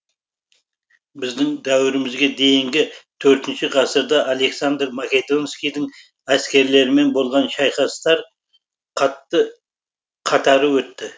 біздің дәуірімізге дейінгі төртінші ғасырда александр македонскийдің әскерлерімен болған шайқастар қатары өтті